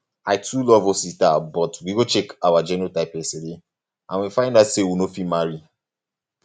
i too love um osita but we go check um our genotype yesterday um and we find out say we no fit marry